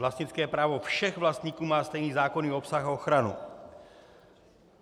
Vlastnické právo všech vlastníků má stejný zákonný obsah a ochranu.